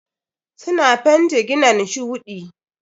Suna fent ginan shuɗi.